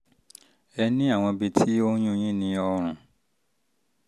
ẹ ní àwọn ibi ní àwọn ibi tó ń yún un yín ní ọrùn